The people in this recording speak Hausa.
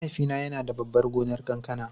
Mahaifina yana da babban gonar kankana.